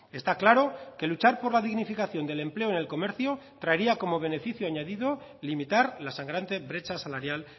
está claro que luchar por la dignificación del empleo en el comercio traería como beneficio añadido limitar la sangrante brecha salarial